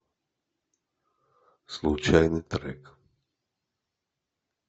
случайный трек